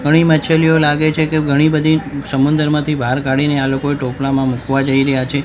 ઘણી માછલીઓ લાગે છે કે ઘણી બધી સમુંદરમાંથી બહાર કાઢીને આ લોકો ટોપલામાં મુકવા જઈ રહ્યા છે.